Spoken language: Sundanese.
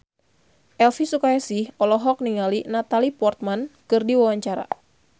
Elvy Sukaesih olohok ningali Natalie Portman keur diwawancara